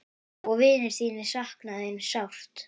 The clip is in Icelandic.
Vinir þínir sakna þín sárt.